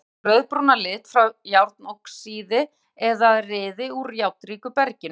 Mars fær sinn rauðbrúna lit frá járnoxíði eða ryði úr járnríku berginu.